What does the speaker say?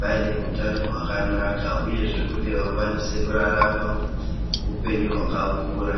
vane utato hwakanaka uyezve kuti vakwanise kurarama upenyu hwakakura.